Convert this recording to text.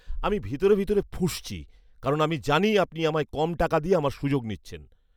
আমি ভিতরে ভিতরে ফুঁসছি কারণ আমি জানি আপনি আমায় কম টাকা দিয়ে আমার সুযোগ নিচ্ছেন।